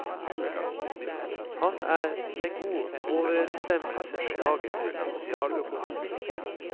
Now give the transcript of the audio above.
Han er i god overensstemmelse med dagens sosialøkonomer.